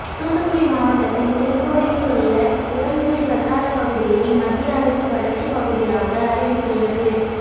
தூத்துக்குடி மாவட்டத்தின் தென்கோடியில் உள்ள உடன்குடி வட்டாரப்பகுதியை மத்திய அரசு வறட்சிப்பகுதியாக அறிவித்துள்ளது